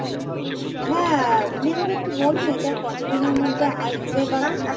হ্যা~ আপনি আমাকে একটু বলুন এটা কত দিনের মধ্যে আসবে বা কি